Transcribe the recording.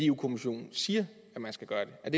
kommissionen siger at man skal gøre det er